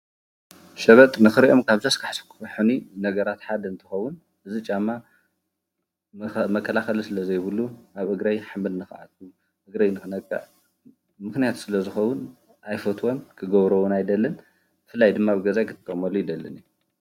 ሸበጥ ንኽሪኣኦም ካብ ዘስካሕኩሕኒ ነገራት ሓደ እንትኸውን እዚ ጫማ መከላኸሊ ስለዘይብሉ ኣብ እግረይ ሓመድ ንኽኣትወኒ፣ እግረይ ንክነቅዕ ምኽንያት ሰለዝኸውን፣ ኣይፈትዎን ።ክገብሮ እውን ኣይደልን ። ብፍላይ ድማ ኣብ ገዛይ ክጥቀመሉ ኣይደልን እየ።